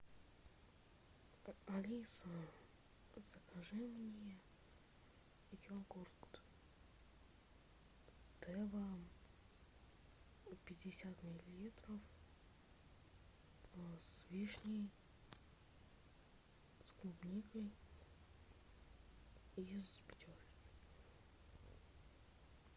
алиса закажи мне йогурт тева пятьдесят миллилитров с вишней с клубникой из пятерки